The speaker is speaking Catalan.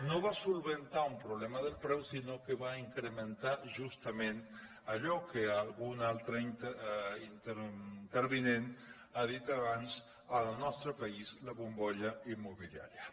no va solucionar el problema del preu sinó que va incrementar justament allò que algun altre intervinent ha dit abans en el nostre país la bombolla immobiliària